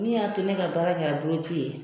Min y'a to ne ka baara kɛ la boloci ye?